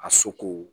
A soko